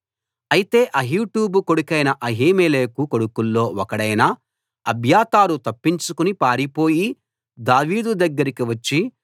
అయితే అహీటూబు కొడుకైన అహీమెలెకు కొడుకుల్లో ఒకడైన అబ్యాతారు తప్పించుకుని పారిపోయి దావీదు దగ్గరికి వచ్చి